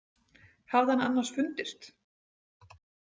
Hafði hann annars fundist?